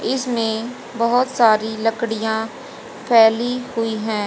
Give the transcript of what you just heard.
इसमें बहोत सारी लकड़ियां फैली हुई हैं।